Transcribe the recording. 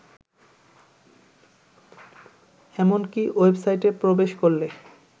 এমনকি ওয়েবসাইটে প্রবেশ করলে